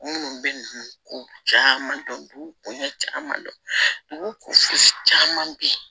Minnu bɛ ko caman dɔn duɲa caman dɔn dugu kofɔ caman bɛ yen